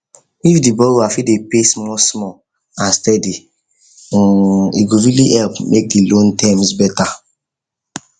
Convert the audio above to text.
if the borrower fit dey pay smallsmall steady um e go really help make the loan terms better